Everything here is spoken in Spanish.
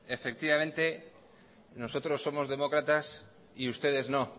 efectivamente nosotros somos demócratas y ustedes no